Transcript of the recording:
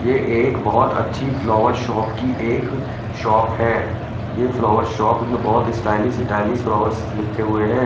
यह एक बहोत अच्छी फ्लावर शॉप की एक शॉप है यह फ्लावर शॉप में बहोत स्टाइलिश स्टाइलिश फ्लावर्स लिखे हुए है।